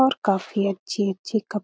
और काफी अच्छी-अच्छी कप --